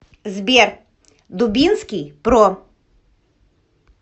сбер дубинский про